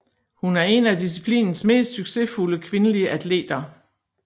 Hun er en af disciplinens mest succesfulde kvindelige atleter